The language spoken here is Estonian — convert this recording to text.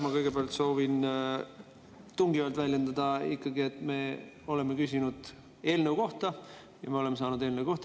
Ma kõigepealt soovin ikkagi tungivalt väljendada, et me oleme küsinud eelnõu kohta ja me oleme saanud eelnõu kohta.